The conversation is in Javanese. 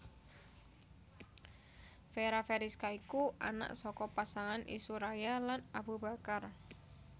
Fera Feriska iku anak saka pasangan Isuraya lan Abu Bakar